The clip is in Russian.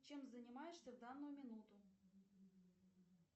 чем занимаешься в данную минуту